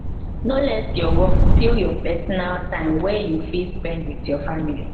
no let your work steal your personal time wey you fit spend with your family